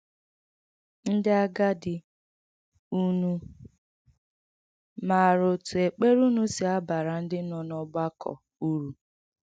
Ndị agadi, ụ̀nụ̀ mārā ọ̀tụ ekpere ūnụ si abara ndị nọ n’ọ̀gbàkọ uru?